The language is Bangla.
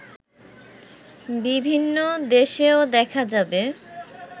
বিভিন্ন দেশেও দেখা যাবে